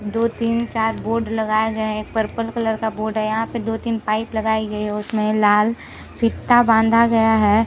दो तीन चार बोर्ड लगाए गए है एक पर्पल कलर का बोर्ड यहाँ पे दो तीन पाइप लगाई गई हैं उसमे लाल फीता बांधा गया है।